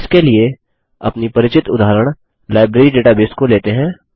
इसके लिए अपनी परिचित उदाहरण लाइब्रेरी डेटाबेस को लेते हैं